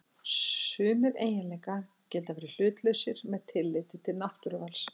Sumir eiginleikar geta verið hlutlausir með tilliti til náttúruvals.